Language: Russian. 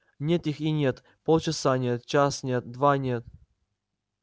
нет их и нет полчаса нет час нет два нет